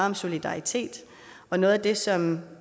om solidaritet og noget af det som